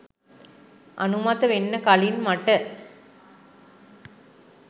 අනුමත වෙන්න කලින් මට